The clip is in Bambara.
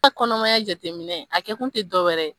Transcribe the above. Ka kɔnɔmaya jateminɛ a kɛ kun te dɔ wɛrɛ ye